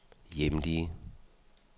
hjemlige